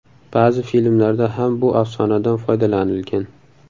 Ba’zi filmlarda ham bu afsonadan foydalanilgan.